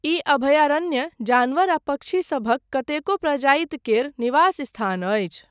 ई अभयारण्य जानवर आ पक्षी सभक कतेको प्रजाति केर निवास स्थान अछि।